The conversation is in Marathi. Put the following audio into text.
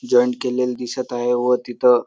जॉइंट केलेले दिसत आहे. व तिथ--